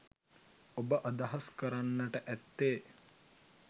ඔබ අදහස් කරන්නට ඇත්තේ